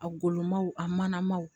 A golomaw a mana ma